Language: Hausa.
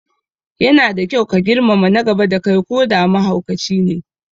Yana da kyau ka girmama na gaba da kai koda mahaukacine